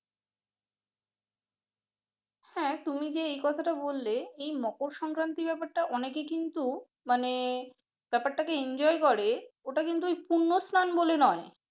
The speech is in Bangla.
হ্যাঁ তুমি যে কথাটা বললে এই মকল সংক্রান্তি ব্যাপারটা অনেকে কিন্তু মানে ব্যাপারটাকে enjoy ওইটা কিন্তু পূর্ণ স্লান বলে নয় হ্যাঁ